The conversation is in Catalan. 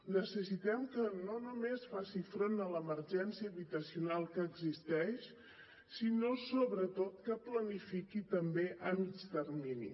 necessitem que no només faci front a l’emergència habitacional que existeix sinó sobretot que planifiqui també a mitjà termini